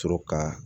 Sɔrɔ ka